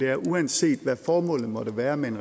er at uanset hvad formålet måtte være med en